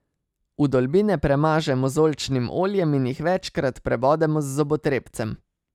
Vdolbine premažemo z oljčnim oljem in jih večkrat prebodemo z zobotrebcem.